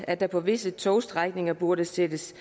at der på visse togstrækninger burde sættes